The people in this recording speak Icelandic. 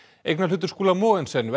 eignarhlutur Skúla Mogensen